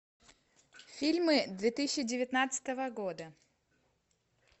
фильмы две тысячи девятнадцатого года